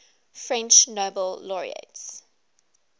french nobel laureates